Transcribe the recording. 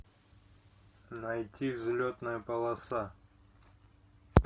найти взлетная полоса